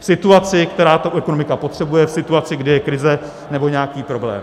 V situaci, kdy to ekonomika potřebuje, v situaci, kdy je krize nebo nějaký problém...